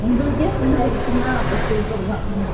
உங்களுக்கே full ஆய்டுச்சுனா அப்ப super தான்